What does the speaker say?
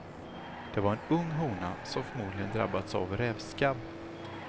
Det var en ung hona, som förmodligen drabbats av rävskabb.